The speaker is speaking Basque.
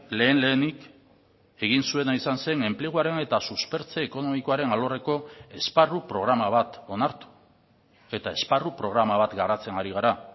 lehen lehenik egin zuena izan zen enpleguaren eta suspertze ekonomikoaren alorreko esparru programa bat onartu eta esparru programa bat garatzen ari gara